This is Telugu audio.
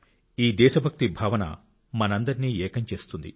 ఈ దేశభక్తి భావన మనందరినీ ఏకం చేస్తుంది